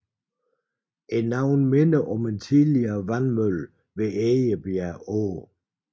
Navnet minder om en tidligere vandmølle ved Egebjerg Å